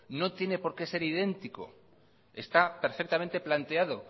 no tiene por qué ser idéntico está perfectamente planteado